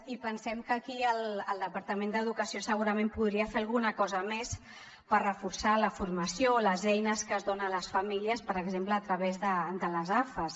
i pensem que aquí el departament d’educació segurament podria fer alguna cosa més per reforçar la formació o les eines que es donen a les famílies per exemple a través de les afas